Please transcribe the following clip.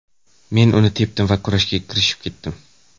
Men uni tepdim va kurashga kirishib ketdim.